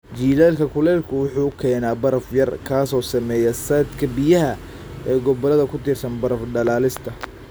Jiilaalka kulaylku wuxuu keenaa baraf yar, kaas oo saameeya saadka biyaha ee gobolada ku tiirsan baraf dhalaalista.